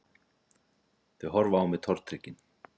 Þau horfa á mig tortryggin